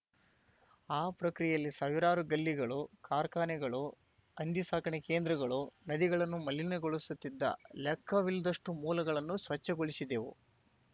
ಆ ಪ್ರಕ್ರಿಯೆಯಲ್ಲಿ ಸಾವಿರಾರು ಗಲ್ಲಿಗಳು ಕಾರ್ಖಾನೆಗಳು ಹಂದಿ ಸಾಕಣೆ ಕೇಂದ್ರಗಳು ನದಿಗಳನ್ನು ಮಲಿಗೊಳಿಸುತ್ತಿದ್ದ ಲೆಕ್ಕವಿಲ್ಲದಷ್ಟುಮೂಲಗಳನ್ನು ಸ್ವಚ್ಛಗೊಳಿಸಿದೆವು